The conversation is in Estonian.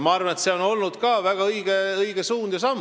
Ma arvan, et see on olnud väga õige suund ja samm.